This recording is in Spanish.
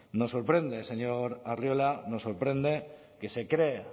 nos sorprende señor arriola nos sorprende que se cree